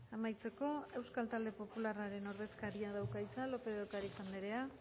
amaitzeko euskal talde popularraren ordezkariak dauka hitza lópez de ocariz anderea